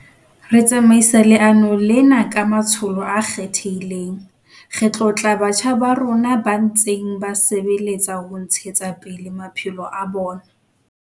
Re tsamaisa leano lena ka matsholo a kgethehileng. Re tlotla batjha ba rona ba ntseng ba sebeletsa ho ntshetsa pele maphelo a bona.